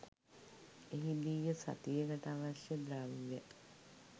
එහිදීය සතියකට අවශ්‍ය ද්‍රව්‍ය